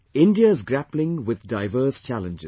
India is grappling with diverse challenges